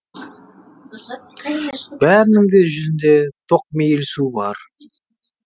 бәрінің де жүзінде тоқмейілсу бар